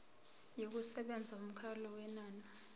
yokusebenza yomkhawulo wenani